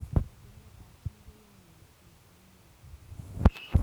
Etuneet ap chii koyae koet portoo eng oleteptoi..